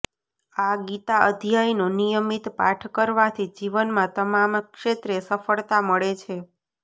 આ ગીતા અધ્યાયનો નિયમિત પાઠ કરવાથી જીવનમાં તમામ ક્ષેત્રે સફળતા મળે છે